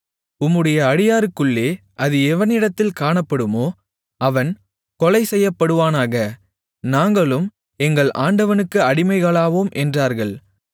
உம்முடைய அடியாருக்குள்ளே அது எவனிடத்தில் காணப்படுமோ அவன் கொலை செய்யப்படுவானாக நாங்களும் எங்கள் ஆண்டவனுக்கு அடிமைகளாவோம் என்றார்கள்